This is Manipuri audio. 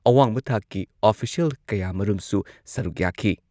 ꯑꯋꯥꯡꯕ ꯊꯥꯛꯀꯤ ꯑꯣꯐꯤꯁꯤꯌꯦꯜ ꯀꯌꯥꯃꯔꯨꯝꯁꯨ ꯁꯔꯨꯛ ꯌꯥꯈꯤ꯫